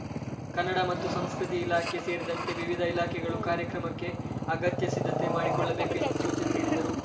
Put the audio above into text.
ಕನ್ನಡ ಮತ್ತು ಸಂಸ್ಕೃತಿ ಇಲಾಖೆ ಸೇರಿದಂತೆ ವಿವಿಧ ಇಲಾಖೆಗಳು ಕಾರ್ಯಕ್ರಮಕ್ಕೆ ಅಗತ್ಯ ಸಿದ್ಧತೆ ಮಾಡಿಕೊಳ್ಳಬೇಕು ಎಂದು ಸೂಚನೆ ನೀಡಿದರು